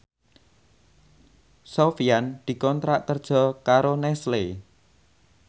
Sofyan dikontrak kerja karo Nestle